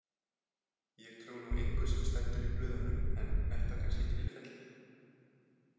Ég trúi nú engu sem stendur í blöðunum en er það kannski tilfellið?